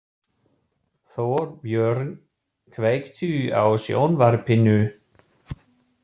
Þorbjörn, kveiktu á sjónvarpinu.